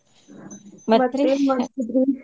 ಮಾಡ್ತಿದ್ರೀ ?